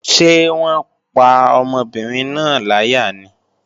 Ṣé wọ́n pa ọmọbìnrin náà láyà ni?